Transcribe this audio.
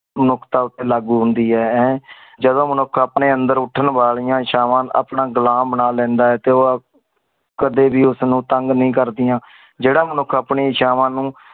ਨੁਖਤਾ ਉਥੇ ਲਾਗੂ ਹੁੰਦੀ ਆਏ ਅਹ ਜਦੋਂ ਮਨੁੱਖ ਆਮਨੇ ਅੰਦਰ ਉਤਨ ਵਾਲਿਯਾਂ ਸਹਵਾ ਆਪਣਾ ਗ਼ੁਲਾਮ ਬਣਾ ਲੈਂਦਾ ਆਏ ਤੇ ਓ ਆਪ ਕਦੇ ਵੀ ਉਸ ਨੂ ਤੰਗ ਨਈ ਕਰ ਦਿਯਾ ਜਿਹੜਾ ਮਨੁੱਖ